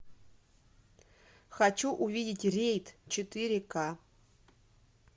хочу увидеть рейд четыре к